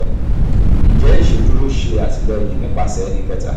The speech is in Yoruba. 3. njẹ iṣeduro ṣe atilẹyin nipasẹ ẹnikẹta?